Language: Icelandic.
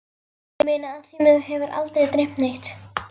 Ég meina af því mig hefur aldrei dreymt neitt.